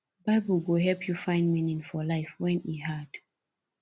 bible go help yu find meaning for life wen e hard